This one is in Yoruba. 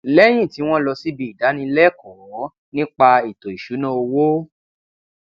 lẹyìn tí wọn lọ síbi ìdánilẹẹkọ nípa ètò ìṣúná owó